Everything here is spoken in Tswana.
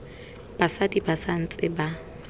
basadi ba sa ntse ba